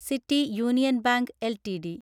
city union bank LTD